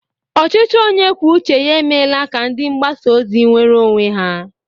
Ọchịchị onye kwuo uche ya emeela ka ndi mgbasa ozi nweere onwe ya.